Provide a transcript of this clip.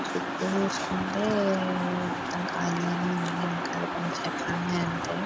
చుట్టూ చూసుకుంటే మొత్తం ఖాళీగానే ఉంది వెనకాల కొన్ని చెట్లు ఉన్నాయి అంతే.